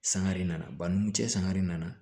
Sangare nana banni n cɛ sangare nana